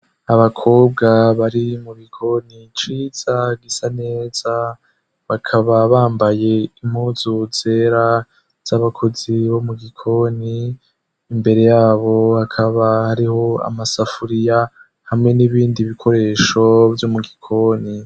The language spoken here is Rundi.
Abakobwa bari mu gikoni ciza gisa neza, bakaba bambaye impuzu zera z'abakozi bo mu gikoni; imbere yabo hakaba hariho amasafuriya hamwe n'ibindi bikoresho vyo mu gikoni.